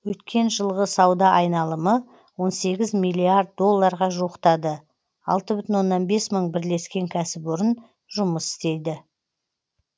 өткен жылғы сауда айналымы он сегіз миллиард долларға жуықтады алты бүтін оннан бес мың бірлескен кәсіпорын жұмыс істейді